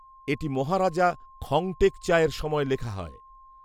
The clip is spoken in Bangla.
এটি মহারাজা খংটেকচায়ের সময় লেখা হয়